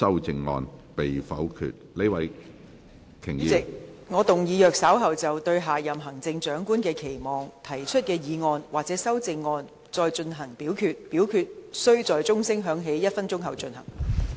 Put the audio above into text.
主席，我動議若稍後就"對下任行政長官的期望"所提出的議案或修正案再進行點名表決，表決須在鐘聲響起1分鐘後進行。